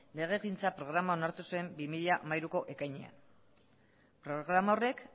legegintza programa onartu zuen bi mila hamairuko ekainean programa horrek